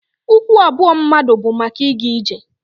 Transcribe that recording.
Ụkwụ abụọ mmadụ bu maka ịga ije.